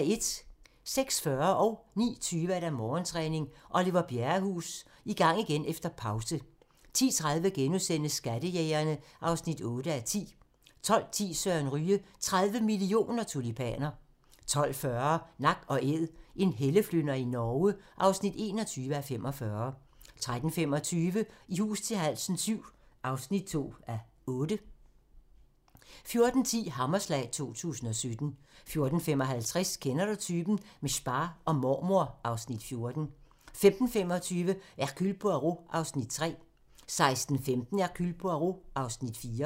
06:40: Morgentræning: Oliver Bjerrehus – I gang igen efter pause 09:20: Morgentræning: Oliver Bjerrehus – I gang igen efter pause 10:30: Skattejægerne (8:10)* 12:10: Søren Ryge: 30 mio. tulipaner 12:40: Nak & Æd – en helleflynder i Norge (21:45) 13:25: I hus til halsen VII (2:8) 14:10: Hammerslag 2017 14:55: Kender du typen? - med spa og mormor (Afs. 14) 15:25: Hercule Poirot (Afs. 3) 16:15: Hercule Poirot (Afs. 4)